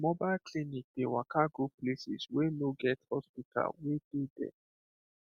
mobile clinic dey waka go places wey no get hospital wey dey there